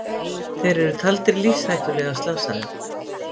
Þeir eru taldir lífshættulega slasaðir